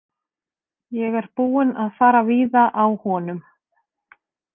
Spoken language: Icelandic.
Ég er búinn að fara víða á honum.